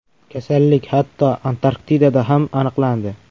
Kasallik hatto, Antarktidada ham aniqlandi .